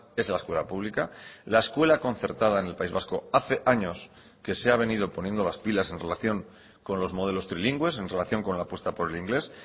es la escuela pública la escuela concertada en el país vasco hace años que se ha venido poniendo las pilas en relación con los modelos trilingües en relación con la apuesta por el inglés